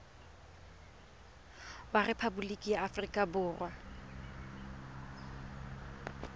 wa rephaboliki ya aforika borwa